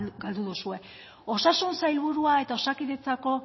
galdu duzue osasun sailburua eta osakidetzako